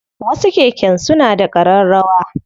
Wasu keken suna da ƙararrawa.